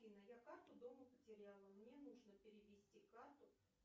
афина я карту дома потеряла мне нужно перевести карту